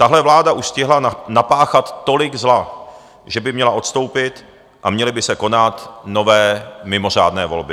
Tahle vláda už stihla napáchat tolik zla, že by měla odstoupit a měly by se konat nové mimořádné volby.